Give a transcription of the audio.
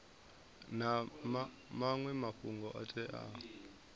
na maṅwe mafhungo o teaho